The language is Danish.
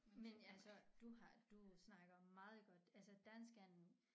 Men altså du har du snakker meget godt altså dansk er en